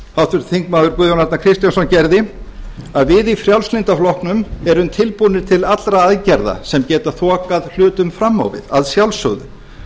háttvirtir þingmenn guðjón arnar kristjánsson gerði að við í frjálslynda flokknum erum tilbúnir til allra aðgerða sem geta þokað hlutum fram á við að sjálfsögðu